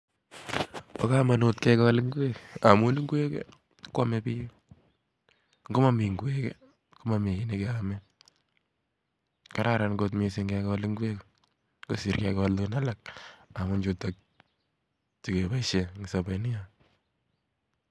Bo komonut kegol ing'wek, ng'a amun ingwek kwame biik. Ng'omami ing'wek, komami kiy ne keame. Kararan kot missing kegol ing'wek, kosir kegol chun alak amun chutok che keboisie eng' sobet nyo